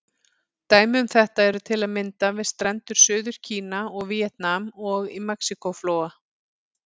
Dæmi um þetta eru til að mynda við strendur Suður-Kína og Víetnam, og í Mexíkó-flóa.